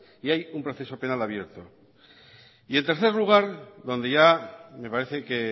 y hay un proceso penal abierto y en tercer lugar donde ya me parece que